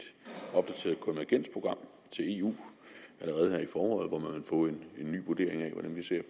opdateret konvergensprogram til eu allerede i foråret hvor man vil få en ny vurdering af hvordan vi ser